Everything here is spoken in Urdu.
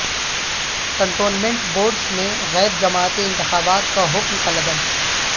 کنٹونمنٹ بورڈز میں غیر جماعتی انتخابات کا حکم کالعدم